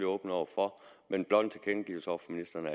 åbne over for men blot en tilkendegivelse over for ministeren